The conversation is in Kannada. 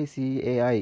ಐಸಿಎಐ